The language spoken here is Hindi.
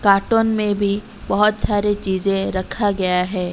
कार्टून में भी बहोत सारे चीजे रखा गया है।